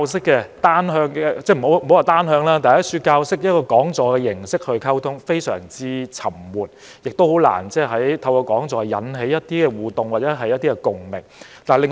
我不說是單向教授，但以講座的形式來溝通，非常沉悶，亦難以引起互動或共鳴。